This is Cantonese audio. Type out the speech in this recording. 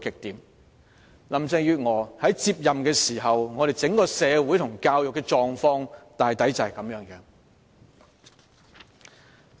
當林鄭月娥接任時，我們社會和教育的整體狀況大概便是如此。